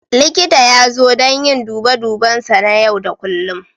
Likita ya zo don yin dube duben sa na yau da kullum.